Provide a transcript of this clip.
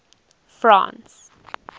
france